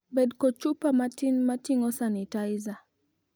Bed kod chupa matin moting'o sanitizer.